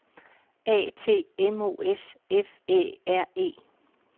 A T M O S F Æ R E